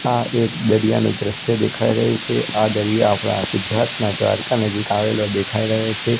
આ એક દરિયાનો દ્રશ્ય દેખાય રહી છે આ દરિયા આપડા ગુજરાતના દ્વારકા નજીક આવેલો દેખાય રહ્યો છે.